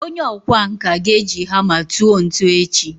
onye okwá nkà ga-eji hama tuo ntu echi